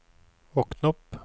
våkn opp